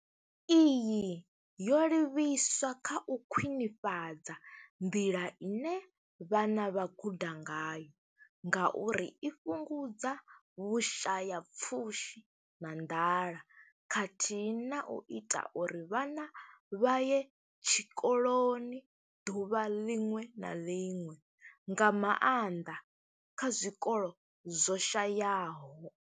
Iyi yo livhiswa kha u khwinifhadza nḓila ine vhana vha guda ngayo ngauri i fhungudza Vhusha ya pfushi na nḓala khathihi na u ita uri vhana vha ye tshikoloni ḓuvha ḽiṅwe na ḽiṅwe, nga maanḓa kha zwikolo zwo shayaho.